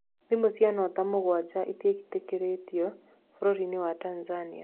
Thimũ cia Nota mũgwanja itietekĩrĩtio bũrũri wa Tanzania